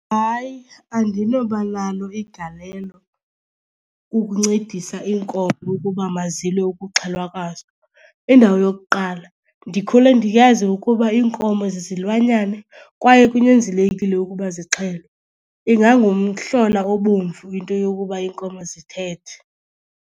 Hayi, andinoba nalo igalelo kukuncedisa iinkomo ukuba mazilwe ukuxhelwa kwazo. Indawo yokuqala ndikhule ndiyazi ukuba iinkomo zizilwanyane kwaye kunyanzelekile ukuba zixhelwe. Ingangumhlola obomvu into yokuba iinkomo zithethe.